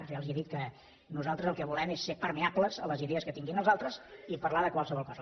ja els he dit que nosaltres el que volem és ser permeables a les idees que tinguin els altres i parlar de qualsevol cosa